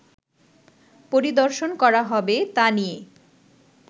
পরিদর্শন করা হবে তা নিয়ে